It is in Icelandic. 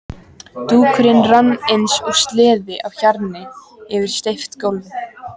Dúkurinn rann eins og sleði á hjarni yfir steypt gólfið.